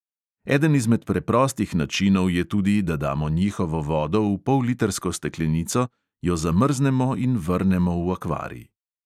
Eden izmed preprostih načinov je tudi, da damo njihovo vodo v pollitrsko steklenico, jo zamrznemo in vrnemo v akvarij.